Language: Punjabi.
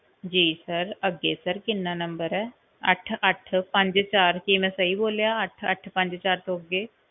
ਜੀ sir ਅੱਗੇ sir ਕਿੰਨਾ number ਹੈ, ਅੱਠ ਅੱਠ ਪੰਜ ਚਾਰ, ਕੀ ਮੈਂ ਸਹੀ ਬੋਲਿਆ ਅੱਠ ਅੱਠ ਪੰਜ ਚਾਰ ਤੋਂ ਅੱਗੇ?